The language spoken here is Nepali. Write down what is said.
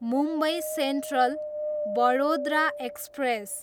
Mumbai central, Vadodara express